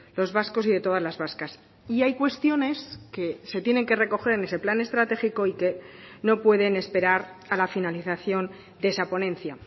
los vascos y de todas las vascas y hay cuestiones que se tienen que recoger en ese plan estratégico y que no pueden esperar a la finalización de esa ponencia